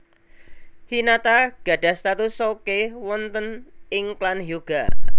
Hinata gadhah status souke wonten ing klan Hyuuga